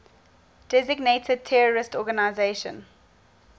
designated terrorist organizations